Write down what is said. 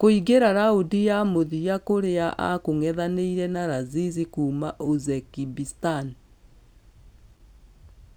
Kũingĩra raundi ya mũthia kũrĩa akũngethanĩra na laziz kuuma uzbekistan.